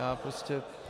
Já prostě...